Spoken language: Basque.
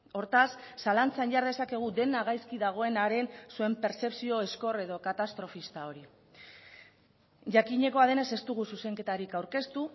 hortaz zalantzan jar dezakegu dena gaizki dagoenaren zuen pertzepzio ezkor edo katastrofista hori jakinekoa denez ez dugu zuzenketarik aurkeztu